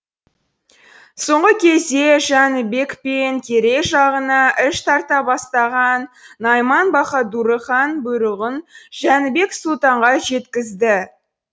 соңғы кезде жәнібек пен керей жағына іш тарта бастаған найман баһадуры хан бұйрығын жәнібек сұлтанға жеткізді